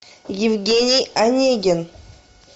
евгений онегин